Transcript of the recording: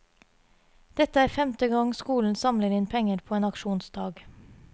Dette er femte gang skolen samler inn penger på en aksjonsdag.